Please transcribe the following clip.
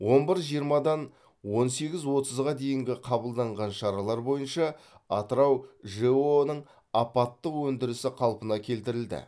он бір жиырмадан он сегіз отызға дейінгі қабылданған шаралар бойынша атырау жэо ның апаттық өндірісі қалпына келтірілді